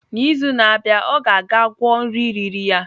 N'izu na-abịa, ọ ga-aga gwọọ nri riri ya.